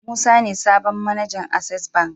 Musa ne sabon mAnajan access bank